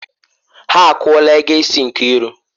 Ha akwụla ego isi Nkiru.